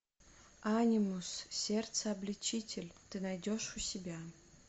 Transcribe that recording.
анимус сердце обличитель ты найдешь у себя